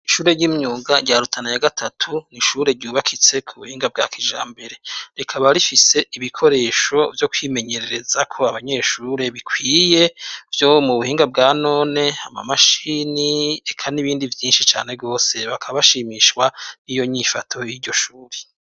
Ishure ry'imyuga rya Rutana ya gatatu, n'ishure ryubakitse ku buhinga bwa kijambere, rikaba rifise ibikoresho vyo kumenyererezako abanyeshure bikwiye, vyo mu buhinga bwa none, ama mashini, reka n'ibindi vyinshi cane rwose. Bakanashimishwa n'iyo nyifato y'iryo shure.